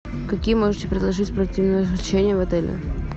какие можете предложить спортивные развлечения в отеле